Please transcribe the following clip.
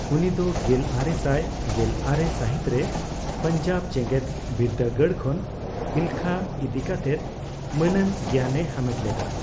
ᱩᱱᱤ ᱫᱚ ᱜᱮᱞᱟᱨᱮᱥᱟᱭ ᱜᱮᱞᱟᱨᱮ ᱥᱟᱹᱦᱤᱛ ᱨᱮ ᱯᱟᱱᱡᱟᱵᱽ ᱡᱮᱜᱮᱫ ᱵᱤᱨᱫᱽᱫᱟᱜᱟᱲ ᱠᱷᱚᱱ ᱮᱞᱠᱷᱟ ᱤᱫᱤ ᱠᱟᱛᱮᱜ ᱢᱟᱹᱱᱟᱱ ᱜᱮᱭᱟᱱ ᱮ ᱦᱟᱢᱮᱴ ᱞᱮᱫᱟ ᱾